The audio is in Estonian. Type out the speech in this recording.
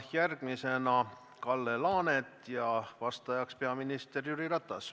Järgmisena küsib Kalle Laanet ja vastajaks on peaminister Jüri Ratas.